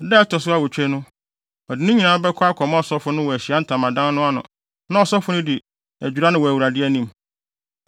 “Da a ɛto so awotwe no, ɔde ne nyinaa bɛkɔ akɔma ɔsɔfo no wɔ Ahyiae Ntamadan no ano na ɔsɔfo no de adwira no wɔ Awurade anim.